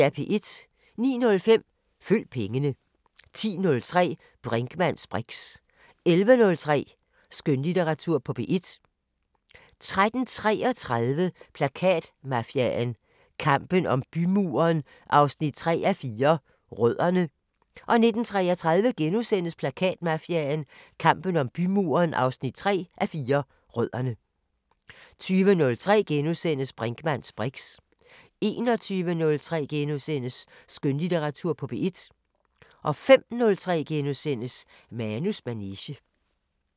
09:05: Følg pengene 10:03: Brinkmanns briks 11:03: Skønlitteratur på P1 13:33: Plakatmafiaen – kampen om bymuren 3:4 – Rødderne 19:33: Plakatmafiaen – kampen om bymuren 3:4 – Rødderne * 20:03: Brinkmanns briks * 21:03: Skønlitteratur på P1 * 05:03: Manus manege *